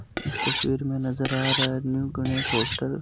इस तस्वीर में नज़र आ रहा है न्यू गणेश होटल --